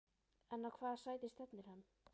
En á hvaða sæti stefnir hann?